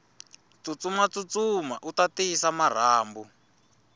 tsutsuma tsutsuma uta tiyisa marhambu